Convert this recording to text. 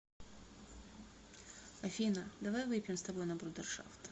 афина давай выпьем с тобой на брудершафт